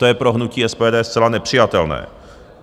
To je pro hnutí SPD zcela nepřijatelné.